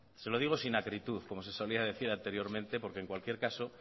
se lo sigo sin acritud como se solía decir anteriormente porque en cualquier caso